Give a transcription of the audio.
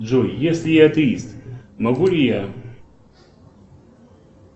джой если я атеист могу ли я